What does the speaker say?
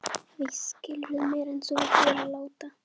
Víst skilurðu meira en þú vilt vera láta.